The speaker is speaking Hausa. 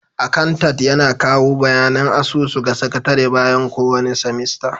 Akantant yana kawo bayanin asusu ga sakatare bayan kowane semester.